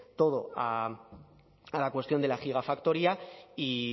todo a la cuestión de la gigafactoría y